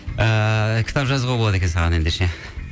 ыыы кітап жазуға болады екен саған ендеше